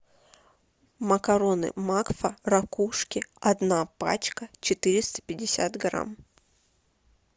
макароны макфа ракушки одна пачка четыреста пятьдесят грамм